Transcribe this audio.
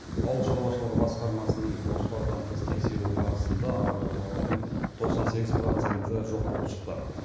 ауыл шаруашылығы басқармасының жоспардан тыс тексеруі барысында агротауардың тоқсан сегіз проценті жоқ болып шықты